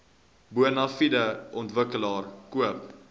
bonafide ontwikkelaar koop